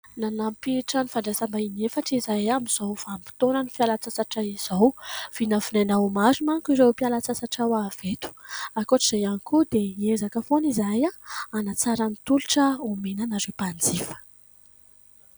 Nanampy trano fandrasaim-bahin'ny efatra izahay amin'izao vanim-potoana ny fialan-tsasatra izao. Vinavinaina ho maro manko irao mpiala sasatra ho avy eto ankoatr'izay ihany koa dia hiezaka foana izahay hanatsara ny tolotra omena anareo mpanjifa.